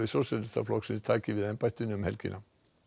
Sósíalistaflokksins taki við embættinu um helgina